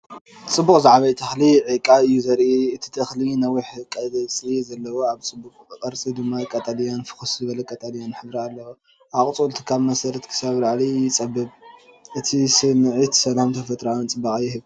ጽቡቕ ዝዓበየ ተኽሊ ዒቃ እዩ ዘርኢ። እቲ ተኽሊ ነዊሕ ቆጽሊ ኣለዎ፣ ጽቡቕ ቅርጺ ድማ ቀጠልያን ፍኹስ ዝበለ ቀጠልያን ሕብሪ ኣለዎ። ኣቝጽልቱ ካብ መሰረት ክሳብ ላዕሊ ይጸብብ። እዚ ስምዒት ሰላምን ተፈጥሮኣዊ ጽባቐን ይህብ።